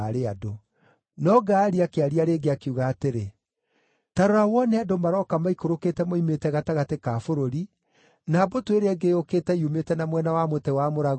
No Gaali akĩaria rĩngĩ, akiuga atĩrĩ: “Ta rora wone andũ maroka maikũrũkĩte moimĩte gatagatĩ ka bũrũri, na mbũtũ ĩrĩa ĩngĩ yũkĩte yumĩte na mwena wa mũtĩ wa mũragũri.”